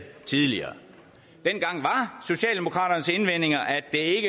tidligere dengang var socialdemokraternes indvendinger at det